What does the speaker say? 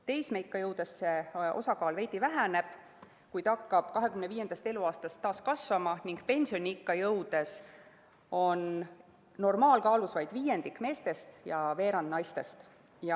Teismeikka jõudes see osakaal veidi väheneb, kuid hakkab 25. eluaastast taas kasvama ning pensioniikka jõudes on normaalkaalus vaid viiendik meestest ja veerand naistest.